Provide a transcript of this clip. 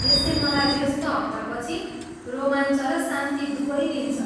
यसले मलाई व्यस्त हप्तापछि रोमाञ्च र शान्ति दुवै दिन्छ।